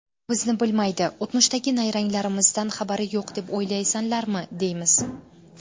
Bizni bilmaydi, o‘tmishdagi nayranglarimizdan xabari yo‘q deb o‘ylaysanlarmi, deymiz.